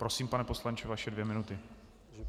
Prosím, pane poslanče, vaše dvě minuty.